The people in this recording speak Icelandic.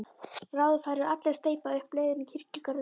Bráðum færu allir að steypa upp leiðin í kirkjugarðinum.